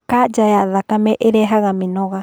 kanja ya thakame ĩrehaga mĩnoga